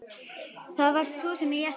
Það varst þú sem lést taka þá af lífi.